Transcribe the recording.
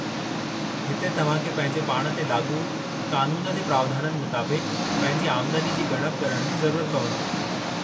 हिते तव्हां खे पंहिंजे पाण ते लाॻू क़ानून जे प्रावधाननि मुताबिक़ु पंहिंजी आमदनी जी ॻणप करण जी ज़रुरत पवंदी।